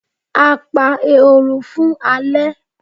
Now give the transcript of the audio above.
A pa ehoro fun ale